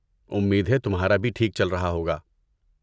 امید ہے تمہارا بھی ٹھیک چل رہا ہوگا!